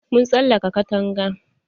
Mun tsalaka katanga.